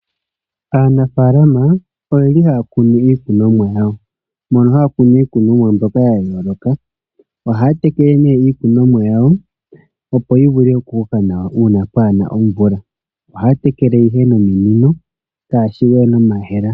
Aanafalama oyeli haya kunu iikunomwa yawo mono haya kunu iikunomwa mbyoka ya yooloka ohaya tekele nee iikunomwa yawo mono hayi vu okukoka nawa uuna pwaana omvula.